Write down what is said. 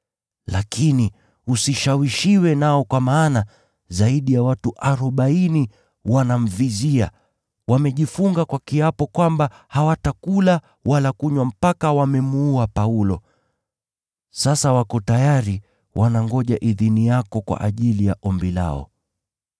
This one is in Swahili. Lakini usishawishiwe nao kwa maana zaidi ya watu arobaini wanamvizia. Wamejifunga kwa kiapo kwamba hawatakula wala kunywa mpaka wawe wamemuua Paulo. Sasa wako tayari, wanangoja idhini yako kwa ajili ya ombi lao.”